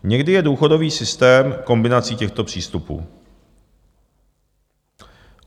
Někdy je důchodový systém kombinací těchto přístupů.